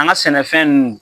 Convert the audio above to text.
An ga sɛnɛfɛn nunnu